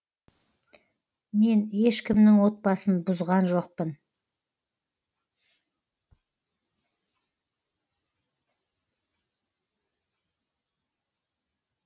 мен ешкімнің отбасын бұзған жоқпын